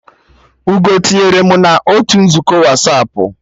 Ugoo tinyere mụ na otu nzukọ Wasapụ